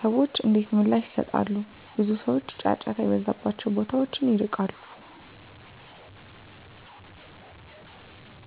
*ሰዎች እንዴት ምላሽ ይሰጣሉ? ብዙ ሰዎች ጫጫታ የበዛባቸውን ቦታዎች ይርቃሉ።